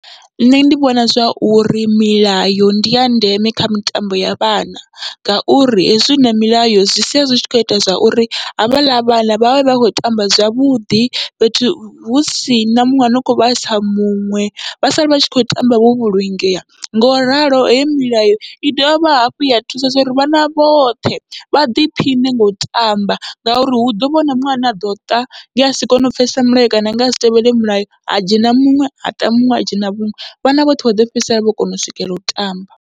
Nṋe ndi vhona zwa uri milayo ndi ya ndeme kha mitambo ya vhana, ngauri hezwi huna milayo zwi sia zwi tshi kho ita zwa uri havhaḽa vhana vhavhe vha kho tamba zwavhuḓi fhethu husina muṅwe ano kho vha vhaisa muṅwe, vha sala vha tshi khou tamba vho vhulungea. Ngoralo hei milayo i dovha hafhu ya thusa uri vhana vhoṱhe vha ḓiphiṋe ngau tamba, ngauri hu ḓovha huna muṅwe ane aḓo ṱa nge asi kone u pfhesesa milayo kana nge asi tevhele milayo, ha dzhena muṅwe ha ṱa muṅwe ha dzhena muṅwe vhana vhoṱhe vha ḓo fhedzisela vho kona u swikelela u tamba.